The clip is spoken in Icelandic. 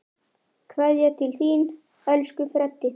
Kveðja til þín, elsku Freddi.